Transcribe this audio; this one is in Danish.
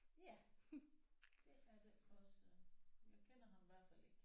Ja det er det også jeg kender ham i hvert fald ikke